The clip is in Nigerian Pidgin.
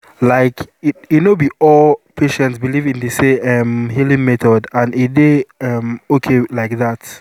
like e no be all patients believe in the same um healing method and e dey um okay like that